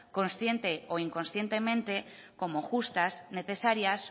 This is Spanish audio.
consciente o inconscientemente como justas necesarias